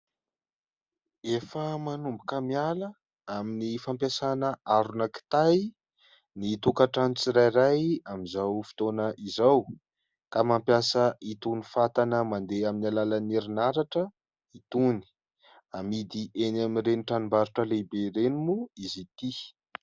Efa manomboka miala amin'ny fampiasana arona kitay ny tokatrano tsirairay amin'izao fotoana izao ka mampiasa itony fatana mandeha amin'ny alalan'ny herinaratra itony, amidy eny amin'ireny tranom-barotra lehibe ireny moa izy ity.